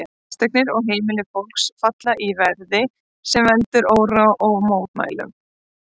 Fasteignir og heimili fólks falla því verði, sem veldur óróa og mótmælum.